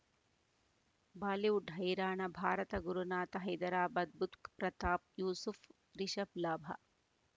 Bollywood ಹೈರಾಣ ಭಾರತ ಗುರುನಾಥ ಹೈದರಾಬಾದ್ ಬುಧ್ ಪ್ರತಾಪ್ ಯೂಸುಫ್ ರಿಷಬ್ ಲಾಭ